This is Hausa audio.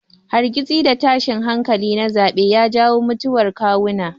Hargitsi da tashin hankali na zaɓe ya jawo mutuwar kawuna.